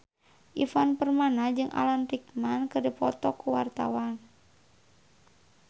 Ivan Permana jeung Alan Rickman keur dipoto ku wartawan